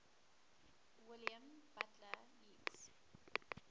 william butler yeats